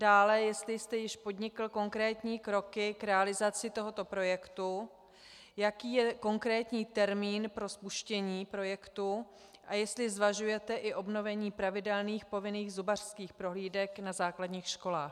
Dále, jestli jste již podnikl konkrétní kroky k realizaci tohoto projektu, jaký je konkrétní termín pro spuštění projektu a jestli zvažujete i obnovení pravidelných povinných zubařských prohlídek na základních školách.